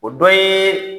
O dɔ ye